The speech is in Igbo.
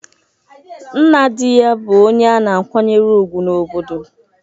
Nna di ya bụ onye a na-akwanyere ùgwù n’obodo.